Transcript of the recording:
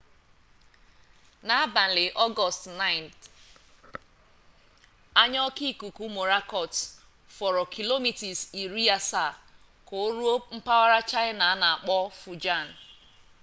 n'abalị ọgọọst 9 anya oke ikuku mọrakọt fọrọ kilomita iri asaa ka o ruo mpaghara chaịna a na-akpọ fujian